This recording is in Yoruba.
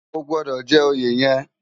Ógbòdò jè óyé yèn